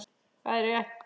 Það er rétt.